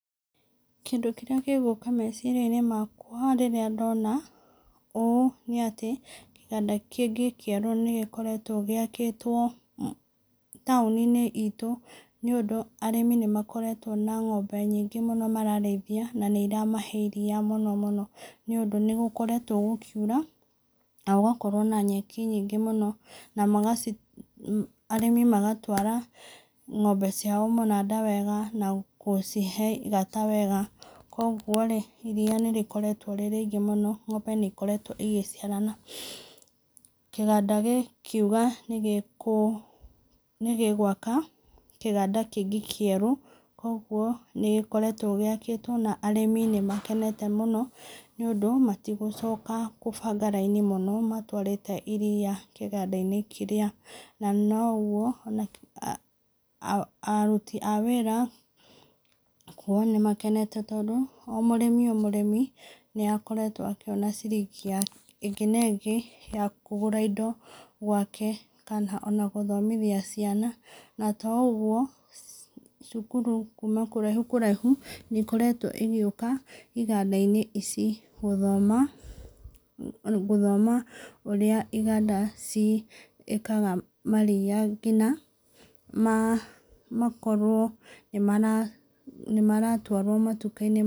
Kĩndũ kĩrĩa gĩgũka meciria-inĩ makwa rĩrĩa ndona ũũ nĩ atĩ kĩganda kĩngĩ kĩerũ nĩ gĩkoretwo gĩakĩtwo taũni-inĩ itũ, nĩũndũ arĩmi nĩ makoretwo na ng'ombe nyingĩ mũno mararĩithia na nĩ iramahe iria mũno mũno, nĩũndũ nĩgũkoretwo gũkiura na gũgakorwo na nyeki nyingĩ mũno na arĩmi magatwara ng'ombe ciao mũnanda wega na gũcihe igata wega. Koguo rĩ, iria nĩ rĩkoretwo rĩ rĩingĩ mũno, ng'ombe nĩ ikoretwo igĩciarana. Kĩganda gĩkiuga nĩ gĩgũaka kĩganda kĩngĩ kĩerũ, koguo nĩgĩkoretwo gĩakĩtwo, na arĩmi nĩ makenete mũno nĩũndũ matigũcoka kũbanga raini mũno matũarĩte iria kĩganda-inĩ kĩrĩa. Na noguo aruti a wĩra kuga nĩmakenete tondũ o mũrĩmi o mũrĩmi nĩ akoretwo akĩona ciringi ĩngĩ na ĩngĩ ya kũgũra indo gwake kana ona gũthomithia ciana. Na toũguo, cukuru kuma kũraihu kũraihu nĩikoretwo igĩũka iganda-inĩ ici gũthoma ũrĩa iganda ciĩkaga maria nginya makorwo nĩ maratwarwo matuka-inĩ.